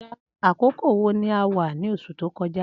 Akókó wó là wà ni óṣú tókọ̀já?